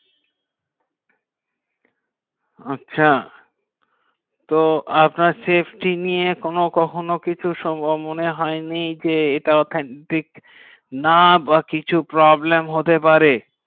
আচ্ছা তো আপনার শেষ টি নিয়ে কোনো কখনো কিছু সংগ্রাম মনে হয়নি যে এটা ঠিক না বা কিছু problem হতে পারে